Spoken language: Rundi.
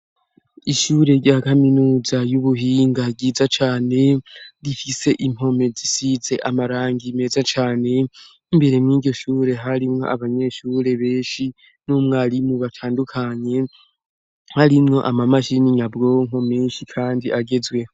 Ishure rya kaminuza y'ubuhinga ryiza cane rifise impome zisize amarangie meza cane imbere mw'igishure harimwo abanyeshure benshi n'umwarimu batandukanye harimwo ama mashir'n'inyabwonko menshi, kandi agezwe.